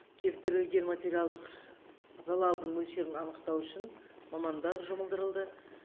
келтірілген материалдық залалдың мөлшерін анықтау үшін мамандар жұмылдырылды